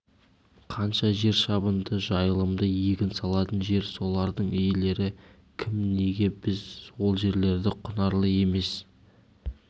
қанша жер шабынды жайылымды егін салатын жер солардың иелері кім неге біз ол жерлерді құнарлы емес